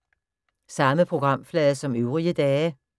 Samme programflade som øvrige dage